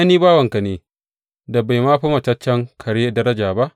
Ni bawanka ne da bai ma fi mataccen kare daraja ba.